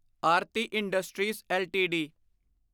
Aarti industries LTD